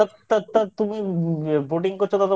তা তা তা তুমি Boatong করছো